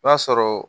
I b'a sɔrɔ